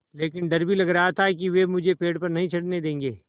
लेकिन डर भी लग रहा था कि वे मुझे पेड़ पर नहीं चढ़ने देंगे